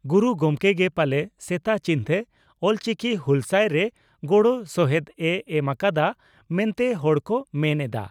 ᱜᱩᱨᱩ ᱜᱚᱢᱠᱮ ᱜᱮ ᱯᱟᱞᱮ ᱥᱮᱛᱟ ᱪᱤᱱᱛᱮ ᱚᱞᱪᱤᱠᱤ ᱦᱩᱦᱞᱥᱟᱹᱭ ᱨᱮ ᱜᱚᱲᱚᱥᱚᱦᱮᱫ ᱮ ᱮᱢ ᱟᱠᱟᱫᱼᱟ ᱢᱮᱱᱛᱮ ᱦᱚᱲ ᱠᱚ ᱢᱮᱱ ᱮᱫᱼᱟ ᱾